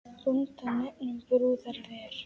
Bónda nefnum brúðar ver.